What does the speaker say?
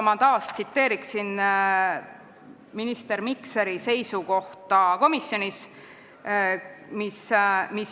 Ma tsiteerin taas minister Mikseri seisukohta komisjonis.